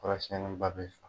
Kɔrɔ siɲɛniba bɛ sɔn.